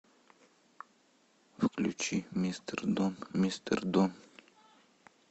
включи мистер дон мистер дон